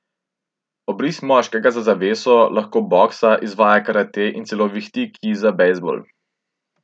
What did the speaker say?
Obris moškega za zaveso lahko boksa, izvaja karate in celo vihti kij za bejzbol.